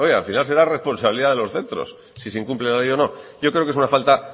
al final será responsabilidad de los centros si se incumple la ley o no yo creo que es una falta